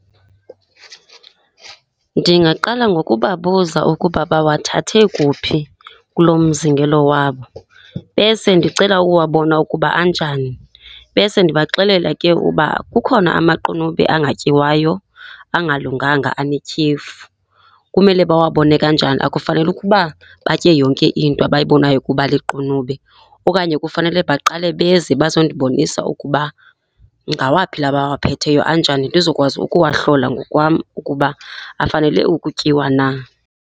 Ndingaqala ngokubabuza ukuba bawathathe kuphi kuloo mzingelo wabo, bese ndicela ukuwabona ukuba anjani. Bese ndibaxelela ke ukuba kukhona amaqunube angatyiwayo angalunganga anetyhefu. Kumele bawabone kanjani? Akufanele ukuba batye yonke into abayibonayo ukuba liqunube okanye kufanele baqale beze bazondibonisa ukuba ngawaphi la bawaphetheyo, anjani, ndizokwazi ukuwahlola ngokwam ukuba afanele ukutyiwa na.